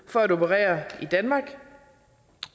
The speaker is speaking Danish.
for at operere i danmark